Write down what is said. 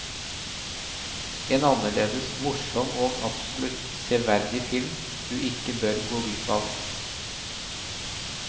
En annerledes, morsom og absolutt severdig film du ikke bør gå glipp av.